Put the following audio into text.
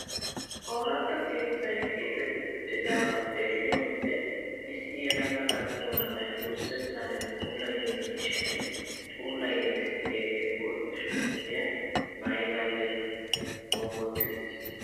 Ooratta keettay keexetti uttidagaa xeelliyoo wode issi yelaga attuma na'ay wurssettan puulayiyoo miishshan puulayiidi de'iyaagee bootta shuraabiyaa maayidaage bongotti uttiis!